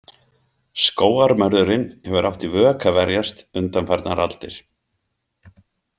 Skógarmörðurinn hefur átt í vök að verjast undanfarnar aldir.